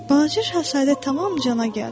Balaca şahzadə tamam cana gəldi.